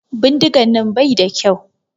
Bindigan nan bai da kyau.